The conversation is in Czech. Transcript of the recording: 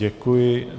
Děkuji.